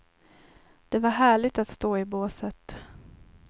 Det var härligt att stå i båset.